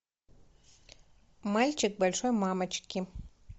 мальчик большой мамочки